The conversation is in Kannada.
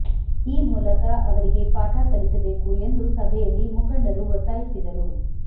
ಈ ಮೂಲಕ ಅವರಿಗೆ ಪಾಠ ಕಲಿಸಬೇಕು ಎಂದು ಸಭೆಯಲ್ಲಿ ಮುಖಂಡರು ಒತ್ತಾಯಿಸಿದರು